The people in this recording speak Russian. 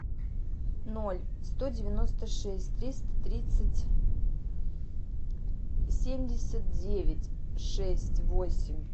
ноль сто девяносто шесть триста тридцать семьдесят девять шесть восемь